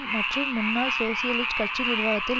மற்றும் முன்னாள் சோசியலிஸ்ட் கட்சி நிர்வாகத்தில்